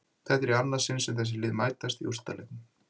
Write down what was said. Þetta er í annað sinn sem þessi lið mætast í úrslitaleiknum.